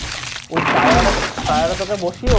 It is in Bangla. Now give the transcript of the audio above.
Tire এ তোকে বসিয়ে